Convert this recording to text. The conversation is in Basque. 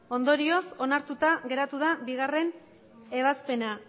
ondorioz onartuta geratu da bigarrena ebazpena